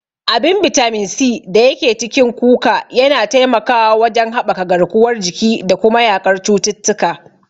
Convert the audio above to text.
Abin bitamin C da yake cikin kuka yana taimakawa wajen haɓaka garkuwar jiki da kuma yaƙar cututtuka.